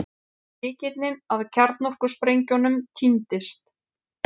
Lykillinn að kjarnorkusprengjunum týndist